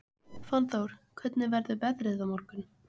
Fannþór, hvernig verður veðrið á morgun?